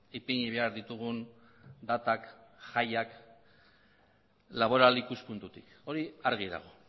ipini behar ditugun datak jaiak laboral ikuspuntutik hori argi dago